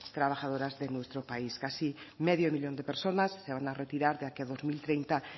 trabajadores de nuestro país casi medio millón de personas se van a retirar de aquí a dos mil treinta